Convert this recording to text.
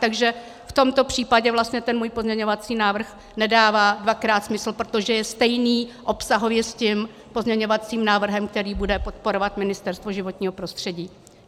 Takže v tomto případě vlastně ten můj pozměňovací návrh nedává dvakrát smysl, protože je stejný obsahově s tím pozměňovacím návrhem, který bude podporovat Ministerstvo životního prostředí.